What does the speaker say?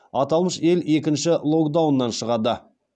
аталмыш ел екінші локдауннан шығады